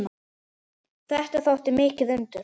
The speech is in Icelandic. Þetta þótti mikið undur.